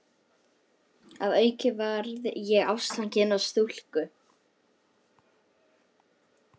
Að auki varð ég ástfanginn af stúlku.